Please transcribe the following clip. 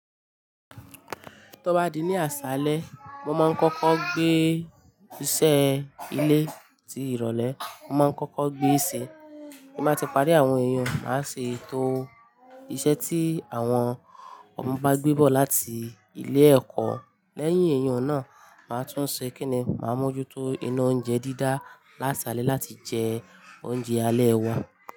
Tó bá di ní àṣálẹ, mo máa ń kọ́kọ́ gbé iṣẹ́ ilé ti ìrólé, mo má ń kọ́kọ́ gbé e ṣe. Bí mo bá ti parí àwọn ẹ̀yun, màá ṣe ètò iṣẹ́ tí àwọn ọmọ bá gbé bọ̀ láti ilé ẹ̀kọ́. Lẹ́yìn ẹ̀yun náà, màá tún ṣe kíni, màá mójútó iná oúnjẹ dídá lásálẹ́ láti jẹ oúnjẹ alẹ́ wọn.